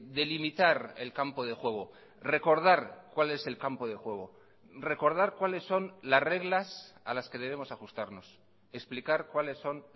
delimitar el campo de juego recordar cuál es el campo de juego recordar cuáles son las reglas a las que debemos ajustarnos explicar cuáles son